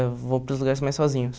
Eu vou para os lugares mais sozinhos.